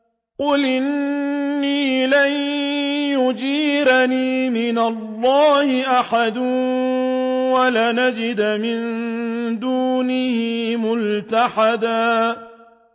قُلْ إِنِّي لَن يُجِيرَنِي مِنَ اللَّهِ أَحَدٌ وَلَنْ أَجِدَ مِن دُونِهِ مُلْتَحَدًا